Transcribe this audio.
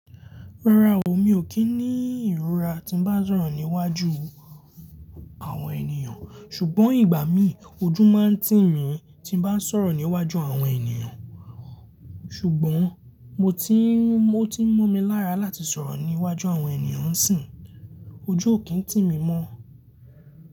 Rárá o, mi ò kí ní ìrora tí ń bá sọ̀rọ̀ níwájú àwọn ènìyàn, ṣùgbọ́n ìgbà mí ojú máa ń tì mí tí n bá sọ̀rọ̀ níwájú àwọn ènìyàn. Ṣùgbọ́n mo ti mọ́ ti mọ́ mi lára láti sọ̀rọ̀ níwájú àwọn ènìyàn si, ojú ò kí ń tì mí mọ́.